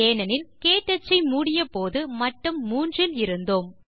ஏனெனில் க்டச் ஐ மூடியபோது மட்டம் 3 இல் இருந்தோம்